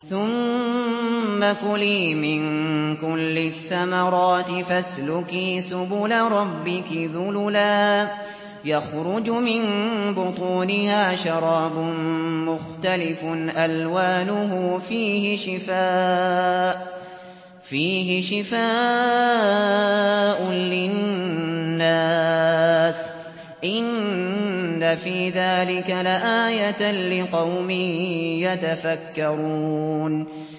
ثُمَّ كُلِي مِن كُلِّ الثَّمَرَاتِ فَاسْلُكِي سُبُلَ رَبِّكِ ذُلُلًا ۚ يَخْرُجُ مِن بُطُونِهَا شَرَابٌ مُّخْتَلِفٌ أَلْوَانُهُ فِيهِ شِفَاءٌ لِّلنَّاسِ ۗ إِنَّ فِي ذَٰلِكَ لَآيَةً لِّقَوْمٍ يَتَفَكَّرُونَ